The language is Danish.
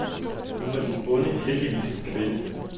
Nu var den onde heldigvis en kvinde.